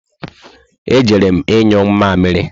E jere m inyụ mamịrị